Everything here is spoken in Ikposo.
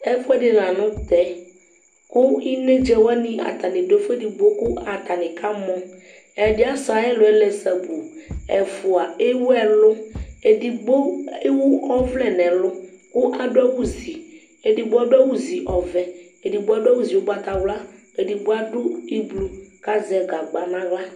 Ɛfʋ ɛdi lanʋ tɛkʋ inedza wani atani dʋ afʋ edigbo kʋ atani kamɔɛdi asɛ ayiʋ ɛlʋ yɛ lɛ sabuu ɛfua ewʋ ɛlʋ edigbo ewʋ ɔvlɛ nʋ ɛlʋ, kʋ adʋ awʋ ziedigbo adʋ awʋ zi ɔvɛ; edigbo adʋ awʋ zi ugbatawla; edigbo adʋ iblu kʋ azɛ gagba nʋ aɣla